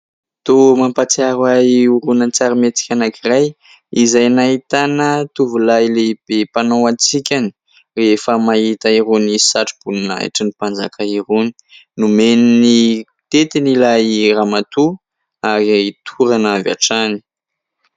Toa mampahatsiaro ahy horonan-tsary mihetsika anankiray izay nahitana tovolahy lehibe mpanao hatsikany rehefa mahita irony satroboninahitry ny mpanjaka irony ; nomeny ny tetiny ilay ramatoa ary torana avy hatrany.